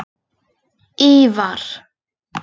Ívar